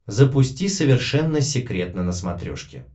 запусти совершенно секретно на смотрешке